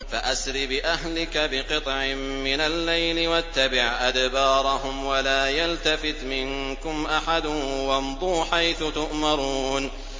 فَأَسْرِ بِأَهْلِكَ بِقِطْعٍ مِّنَ اللَّيْلِ وَاتَّبِعْ أَدْبَارَهُمْ وَلَا يَلْتَفِتْ مِنكُمْ أَحَدٌ وَامْضُوا حَيْثُ تُؤْمَرُونَ